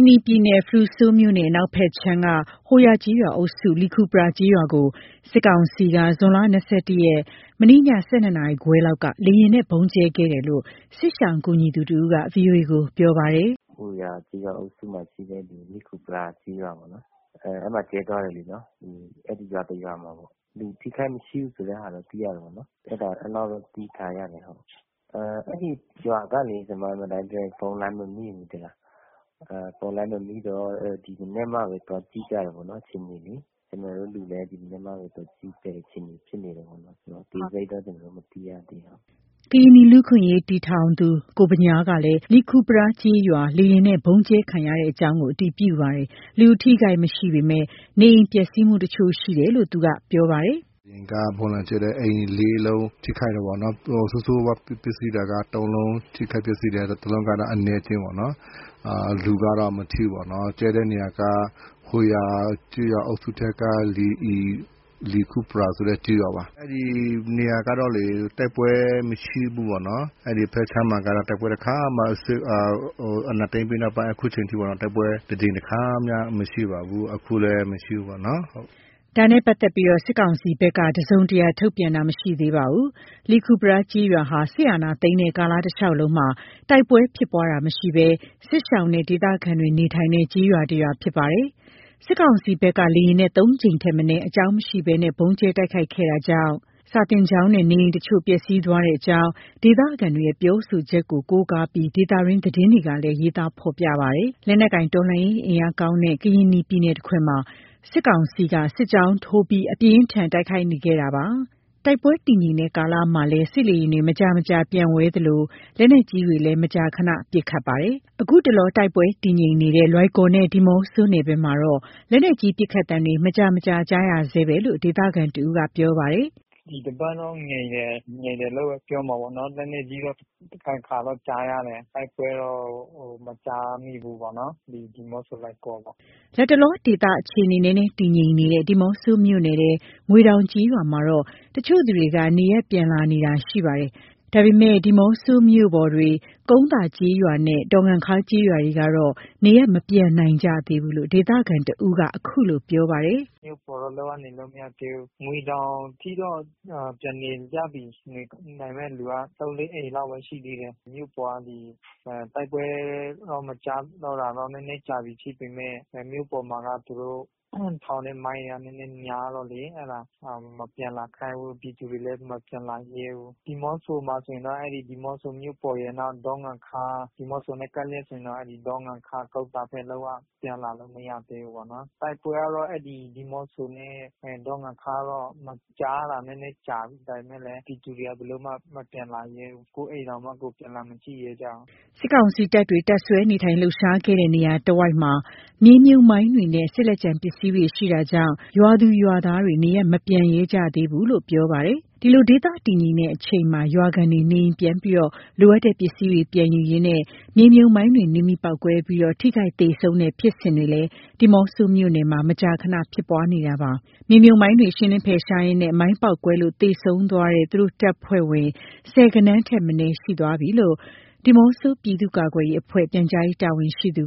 နီပြည်နယ် ဖရူဆိုမြို့နယ်အနောက်ဘက်ခြမ်းက ဟိုဟာ ကျေးရွာအုပ်စု လီခူပရားကျေးရွာကို စစ်ကောင်စီက ဇွန်လ ၂၁ ရက်၊ မနေ့ည ၁၂နာရီခွဲလောက်က လေယာဉ်နဲ့ ဗုံးကျဲခဲ့တယ်လို့ စစ်ရှောင်ကူညီသူတဦးက ဗွီအိုကို ပြောပါတယ်။ “ဟိုယာ ကျေးရွာအုပ်စုမှာရှိတဲ့ လီခူပရား ကျေးရွာပေါ့နော်၊ အဲ့မှာကျဲသွားတယ်လေနော်။ အဲ့ဒီရွာတစ်ရွာမှာပေါ့၊ လူထိခိုက်မရှိဘူးဆိုတဲ့ဟာတော့ သိရတယ်ပေါ့နော်။ အဲ့လောက်ပဲ သိထားရတယ်ဟုတ်။ အဲ့ဒီရွာကလေ ဖုန်းလိုင်းမမိဘူး သိလား။ ဖုန်းလိုင်းမမိတော့ ဒီမနက်မှာပဲ သွားကြည့်ကြတယ်ပေါ့နော် အခြေအနေလေ။ ကျနော်တို့လူလည်း ဒီမနက်မှပဲ သွားကြည့်ရတဲ့အခြေအနေ ဖြစ်နေတယ်ပေါ့နော်။ အသေးစိတ်တော့ ကျနော်တို့ မသိရသေးဘူး ဟုတ်။” ကရင်နီလူ့အခွင့်အရေးအဖွဲ့ တည်ထောင်သူ ကိုဗညားကလည်း လီခူပရား ကျေးရွာ လေယာဉ်နဲ့ ဗုံးကျဲခံရကြောင်း အတည်ပြုပါတယ်။ လူအထိအခိုက်မရှိပေမယ့် နေအိမ်ပျက်စီးမှု တချို့ရှိတယ်လို့ သူက အခုလို ပြောပါတယ်။ “လေယာဉ်က ဗုံးလာကျဲတယ်၊ အိမ်လေးလုံး ထိခိုက်တာပေ့ါနော်။ ဆိုးဆိုးဝါးဝါးပျက်စီးတာက သုံးလုံး ထိခိုက်ပျက်စီးတယ်။ တစ်လုံးကတော့ အနည်းအကျဉ်းပေါ့နော်။ လူကတော့ မထိဘူးပေါ့နော်။ ကျဲတဲ့နေရာက ဟိုယာ ကျေးရွာအုပ်စုထဲက လီခူပရားဆိုတဲ့ ကျေးရွာပါ၊ အဲ့ဒီနေရာကတော့ တိုက်ပွဲမရှိဘူးပေါ့နော်။ အဲ့ဒီဖက်ခြမ်းမှာက အာဏာသိမ်းပြီးနောက်ပိုင်း အခုချိန်ထိပါ၊ တိုက်ပွဲတကြိမ်တခါမှ မရှိပါဘူး။ အခုလည်း မရှိဘူးပေါ့နော် ဟုတ်။” ဒါနဲ့ ပတ်သက်လို့ စစ်ကောင်စီဘက် တစုံတရာထုတ်ပြန်တာ မရှိသေးပါဘူး။ လီခူပရား ကျေးရွာဟာ စစ်အာဏာသိမ်းတဲ့ကာလတလျှောက်လုံးမှာ တိုက်ပွဲဖြစ်ပွားခြင်းမရှိဘဲ စစ်ရှောင်နဲ့ ဒေသခံတွေ နေထိုင်တဲ့ ကျေးရွာတရွာ ဖြစ်ပါတယ်။ စစ်ကောင်စီဘက်က လေယာဉ်နဲ့ ၃ကြိမ်ထက်မနည်း အကြောင်းရင်းမရှိဘဲ ဗုံးကျဲတိုက်ခိုက်ခဲ့တာကြောင့် စာသင်ကျောင်းနဲ့ နေအိမ်တချို့ ပျက်စီးသွားကြောင်း ဒေသခံတွေရဲ့ ပြောဆိုချက်ကို ကိုးကားပြီး ဒေသတွင်းသတင်းတွေမှာလည်း ရေးသားဖော်ပြထားပါတယ်။ လက်နက်ကိုင်တော်လှန်ရေး အင်အားကောင်းတဲ့ ကရင်နီပြည်နယ်တခွင်မှာ စစ်ကောင်စီက စစ်ကြောင်းထိုးပြီး အပြင်းအထန် တိုက်ခိုက်ခဲ့နေတာပါ။ တိုက်ပွဲတည်ငြိမ်တဲ့ကာလမှာလည်း စစ်လေယာဉ်တွေ မကြာမကြာ ပျံဝဲနေသလို လက်နက်ကြီးတွေလည်း မကြာခဏ ပစ်ခတ်နေတာပါ။ ခုတလော တိုက်ပွဲတည်ငြိမ်နေတဲ့ လွိုင်ကော်နဲ့ ဒီးမော့ဆိုနယ်ဘက်မှာတော့ လက်နက်ကြီးပစ်ခတ်သံတွေ မကြာမကြာ ကြားနေရဆဲပဲဖြစ်လို့ ဒေသခံတဦးက ပြောပါတယ်။ “ဒီတပတ်တော့ ငြိမ်တယ်၊ ငြိမ်တယ်လို့ပဲပြောရမှာပေါ့နော်။ လက်နက်ကြီးတော့ တခါတခါတော့ ကြားရတယ်။ တိုက်ပွဲတော့ မကြားမိဘူးပေါ့နော်၊ ဒီ ဒီးမော့ဆို၊ လွိုင်ကော်ပေါ့။” လတ်တလော ဒေသအခြေအနေ နည်းနည်းတည်ငြိမ်နေတဲ့ ဒီးမော့ဆိုမြို့နယ်ထဲ ငွေတောင်ကျေးရွာမှာတော့ တချို့သူတွေက နေရပ်ပြန်လာနေကြတာ ရှိပါတယ်။ ဒါပေမယ့် ဒီးမော့ဆိုမြို့ပေါ်တွေ ကုန်းသာ ကျေးရွာနဲ့ ဒေါ်ငံခါး ကျေးရွာတွေကတော့ နေရပ်မပြန်နိုင်ကြသေးဘူးလို့ ဒေသခံတဦးက ခုလို ပြောပါတယ်။ “မြို့ပေါ်တော့ လုံးဝနေလို့မရသေးဘူး၊ ငွေတောင်ထိတော့ ပြန်နေကြပြီ။ နေနိုင်မယ့်လူက ၃၊ ၄အိမ်လောက်ပဲ ရှိသေးတယ်၊ မြို့ပေါ်က ဒီတိုက်ပွဲတော့ မကြားတာတော့ နည်းနည်းကြာပြီးဖြစ်ပေမယ့် မြို့မှာက သူတို့ထောင်တဲ့ မိုင်းတွေက နည်းနည်းများတော့လေ၊ အဲ့ဒါ မပြန်လာခိုင်းဘူး။ ပြည်သူတွေလည်း မပြန်လာရဲဘူး။ ဒီးမော့ဆိုမှာဆိုရင်တော့ အဲ့ဒီ ဒီးမော့ဆိုမြို့ပေါ်ရယ် နောက် ဒေါ်ငံခါး၊ ဒီးမော့ဆိနဲ့ ကပ်လျက်ဆိုရင်တော့ အဲ့ဒေါ်ငံခါး ကုန်းသားဘက် လုံးဝ ပြန်လာလို့မရသေးဘူးပေါ့နော်။ တိုက်ပွဲကတော့ အဲ့ဒီ ဒီးမော့ဆို နဲ့ ဒေါ်ငံခါး မကြားတာ နည်းနည်းကြာပြီ။ ဒါပေမယ့်လည်း ပြည်သူတွေဘယ်လိုမှ မပြန်လာရဲဘူး။ကိုယ့်အိမ်တောင်မှ ကိုယ်ပြန်လာမကြည့်ရဲကြဘူး။” စစ်ကောင်စီတပ်တွေ တပ်စွဲနေထိုင်လှုပ်ရှားခဲ့တဲ့ နေရာတဝိုက်မှာ မြေမြှုပ်မိုင်းတွေနဲ့ စစ်လက်ကျန်ပစ္စည်းတွေ ရှိနေတာကြောင့် ရွာသူရွာသားတွေ နေရပ်မပြန်ရဲကြသေးတာလို့ ပြောပါတယ်။ ဒီလို ဒေသတည်ငြိမ်တဲ့အချိန်မှာ ရွာခံတွေ နေအိမ်ပြန်ပြီး လိုအပ်တဲ့ပစ္စည်းတွေ ပြန်ယူရင်းနဲ့ မြေမြှုပ်မိုင်းတွေ နင်းမိပေါက်ကွဲပြီး ထိခိုက်သေဆုံးတဲ့ ဖြစ်စဉ်တွေ ဒီးမော့ဆိုမြို့နယ်မှာ မကြာခဏဖြစ်ပွားနေတာပါ။ မြေမြှုပ်မိုင်းတွေ ရှင်းလင်းဖယ်ရှားရင်နဲ့ မိုင်းပေါက်ကွဲလို့ သေဆုံးသွားတဲ့ သူတို့တပ်ဖွဲ့ဝင် ဆယ်ဂဏန်းထက်မနည်း ရှိနေသွားပြီးလို့ ဒီးမော့ဆို ပြည်သူ့ကာကွယ်ရေးအဖွဲ့ ပြန်ကြားရေးတာဝန်ရှိသူ